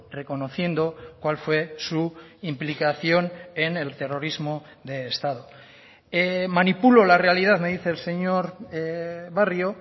reconociendo cuál fue su implicación en el terrorismo de estado manipulo la realidad me dice el señor barrio